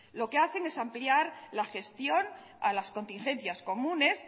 lo que hacen es ampliar la gestión a las contingencias comunes